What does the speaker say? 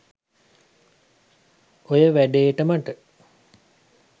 ඔය වැඩේට මට